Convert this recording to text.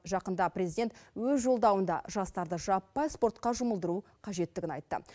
жақында президент өз жолдауында жастарды жаппай спортқа жұмылдыру қажеттігін айтты